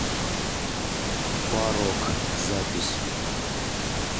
парок запись